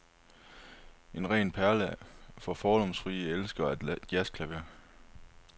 En ren perle for fordomsfrie elskere af jazzklaver.